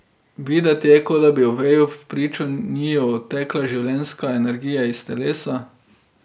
Videti je, kot da bi Oveju vpričo njiju odtekala življenjska energija iz telesa.